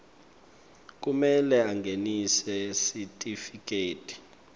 kumele angenise sitifiketi